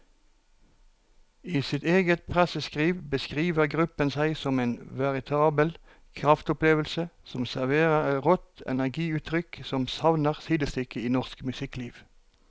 I sitt eget presseskriv beskriver gruppen seg som en veritabel kraftopplevelse som serverer et rått energiutrykk som savner sidestykke i norsk musikkliv.